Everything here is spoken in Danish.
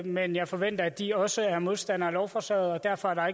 men jeg forventer at de også er modstandere af lovforslaget og derfor er der